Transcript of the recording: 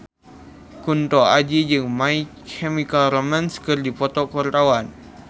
Kunto Aji jeung My Chemical Romance keur dipoto ku wartawan